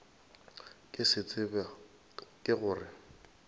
ke se tseba ke gore